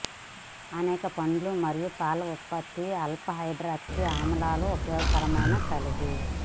అనేక పండ్లు మరియు పాల ఉత్పత్తులు ఆల్ఫా హైడ్రాక్సీ ఆమ్లాలు ఉపయోగకరమైన కలిగి